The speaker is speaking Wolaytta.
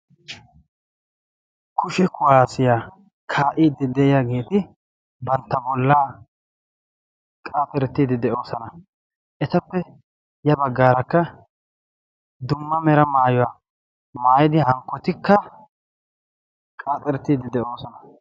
Kushe kuwaasiyaa kaa"iiddi de'iyaageeti bantta bollaa qaaxerettiddi de'oosona. etappe ya baggaarakka dumma mera maayuwaa maayidi hankkotikka qaaxxerettiiddi de'oosona.